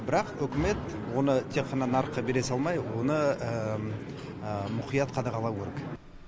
бірақ үкімет оны тек қана нарыққа бере салмай оны мұқият қадағалауы керек